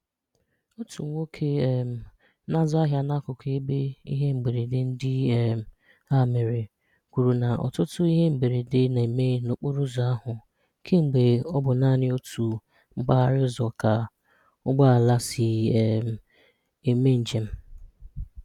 Otu nwoke um na-azụ́ àhịà n’ákùkù ebe íhè mberèndè ndị um a mére, kwùrọ̀ na ọtụtụ́ íhè mberèndè na-eme n’okporoùzò ahụ kemgbe ọ bụ nanị otu mpághàrà ụzọ ka ụgbọ̀ala sí um eme njem.